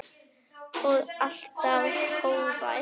Og alltaf hógvær.